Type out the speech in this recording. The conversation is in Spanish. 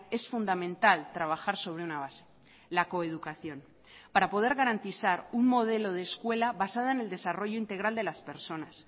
es fundamental trabajar sobre una base la coeducación para poder garantizar un modelo de escuela basada en el desarrollo integral de las personas